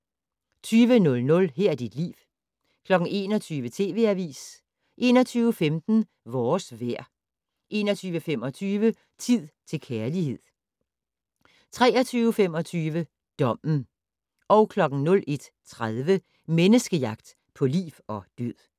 20:00: Her er dit liv 21:00: TV Avisen 21:15: Vores vejr 21:25: Tid til kærlighed 23:25: Dommen 01:30: Menneskejagt på liv og død